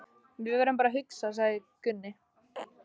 Við verðum bara að hugsa, sagði Gunni.